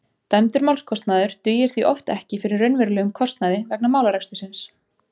Dæmdur málskostnaður dugir því oft ekki fyrir raunverulegum kostnaði vegna málarekstursins.